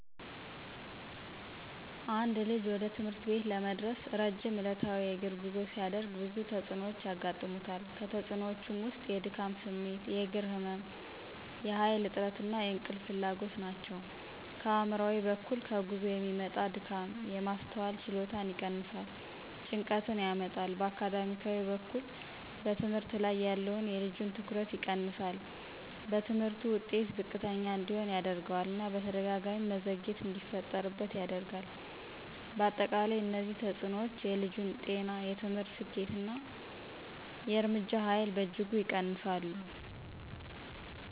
አንድ ልጅ ወደ ትምህርት ቤት ለመድረስ ረጅም ዕለታዊ የእግር ጉዞ ሲያደርግ ብዙ ተጽዕኖዎች ያጋጥሙታል። ከተፅእኖወቹ ውስጥ የድካም ስሜት፣ የእግር ህመም፣ የኃይል እጥረት እና የእንቅልፍ ፍላጎት ናቸው። ከአእምሯዊ በኩል ከጉዞ የሚመጣ ድካም የማስተዋል ችሎታን ይቀንሳል፣ ጭንቀትን ያመጣል። በአካዳሚያዊ በኩል በትምህርት ላይ ያለውን የልጁን ትኩረት ይቀንሳል፣ በትምህርቱ ውጤት ዝቅተኛ እንዲሆን ያደርገዋል እና በተደጋጋሚ መዘግየት እንዲፈጠርበት ያደርጋል። በአጠቃላይ እነዚህ ተጽዕኖዎች የልጁን ጤና፣ የትምህርት ስኬት እና የእርምጃ ኃይል በእጅጉ ይቀንሳሉ።